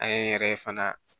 An ye n yɛrɛ fana